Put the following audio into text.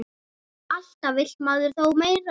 Alltaf vill maður þó meira.